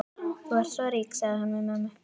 Þú ert svo rík, sagði hún við mömmu.